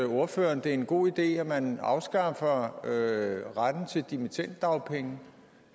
ordføreren det er en god idé at man afskaffer retten til dimittenddagpenge